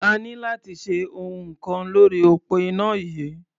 A ní láti ṣe ohun kan lórí òpó iná yìí.